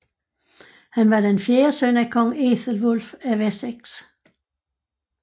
Han var den fjerde søn af Kong Æthelwulf af Wessex